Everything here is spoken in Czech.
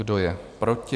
Kdo je proti?